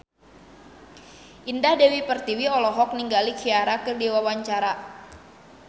Indah Dewi Pertiwi olohok ningali Ciara keur diwawancara